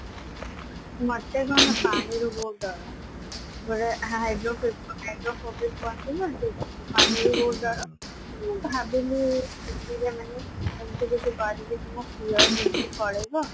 ମୋତେ କଣ ପାଣିରୁ ବହୁତ ଡର ବେଳେ hydro ଥାଏ ଯଉ phobia କୁହନ୍ତି ନା ସେଇଥିପାଇଁ ପାଣିରୁ ବହୁତ ଡର ମୁଁ ଭାବିଲି ଛୁଟିରେ ନହେଲେ ଏମତି କିଛି କରିବି କି ମୋ fear ଜିନିଷ ପଳେଇବ